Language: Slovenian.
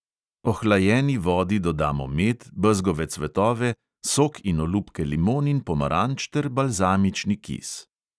Ohlajeni vodi dodamo med, bezgove cvetove, sok in olupke limon in pomaranč ter balzamični kis.